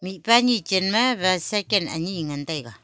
mihpa ane chan ma bycycle ane ngan taiga.